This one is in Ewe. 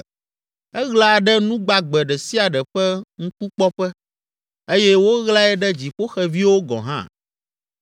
Eɣla ɖe nu gbagbe ɖe sia ɖe ƒe ŋkukpɔƒe eye woɣlae ɖe dziƒoxeviwo gɔ̃ hã.